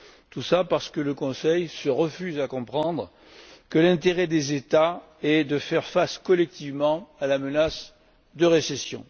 Tout cela parce que le Conseil se refuse à comprendre que l'intérêt des États est de faire face collectivement à la menace de récession.